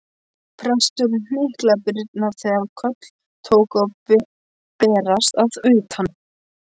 Presturinn hnyklaði brýnnar þegar köll tóku að berast að utan.